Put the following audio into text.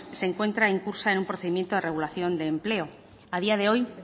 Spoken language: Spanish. se encuentra incursa en un procedimiento a regulación de empleo a día de hoy